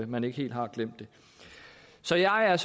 man ikke helt har glemt det så jeg er